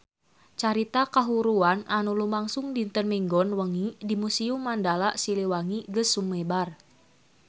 Carita kahuruan anu lumangsung dinten Minggon wengi di Museum Mandala Siliwangi geus sumebar kamana-mana